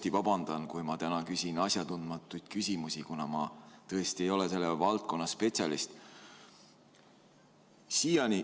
Ma vabandan, kui küsin täna asjatundmatuid küsimusi, kuna ma tõesti ei ole selle valdkonna spetsialist.